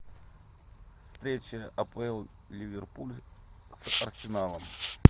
встреча апл ливерпуль с арсеналом